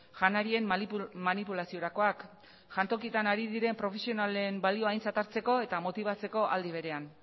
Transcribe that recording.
janarien manipulaziorakoak jantokietan ari diren profesionalen balio aintzat hartzeko eta motibatzeko aldi berean